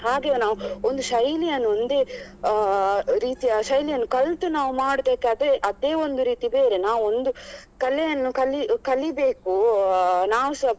ಹಾಗೆ ನಾವು ಒಂದೇ ಶೈಲಿಯನ್ನು ಒಂದೇ ಅಹ್ ರೀತಿಯ ಶೈಲಿಯನ್ನು ಕಲ್ತು ಮಾಡ್ಬೇಕಾದ್ರೆ ಅದೇ ಒಂದು ರೀತಿ ಬೇರೆ ನಾವ್ ಒಂದು ಕಲೆಯನ್ನು ಕಲಿ ಕಲಿಬೇಕು ಅಹ್ ನಾವು ಸ